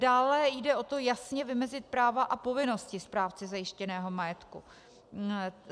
Dále jde o to jasně vymezit práva a povinnosti správci zajištěného majetku.